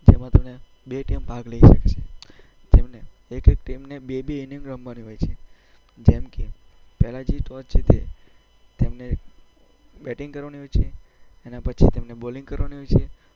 જેમાં બે ટીમ ભાગ લઈ શકે છે, જેમને એક-એક ટીમને બે-બે ઈનિંગ રમવાની હોય છે, જેમ કે જે ટોસ જીતે તેમને બેટિંગ કરવાની હોય છે એના પછી તેમને બોલિંગ કરવાની હોય છે.